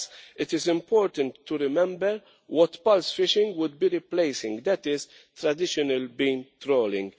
Thus, it is important to remember what pulse fishing would be replacing, and that is traditional beam trawling.